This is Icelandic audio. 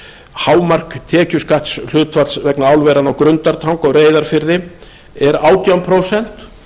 hámark tekjuskattshlutfalls vegna álveranna á grundartanga og reyðarfirði er átján prósent